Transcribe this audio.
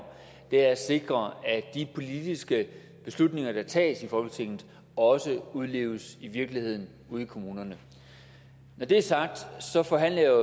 er at sikre at de politiske beslutninger der tages i folketinget også udleves i virkeligheden ude i kommunerne når det er sagt forhandler jeg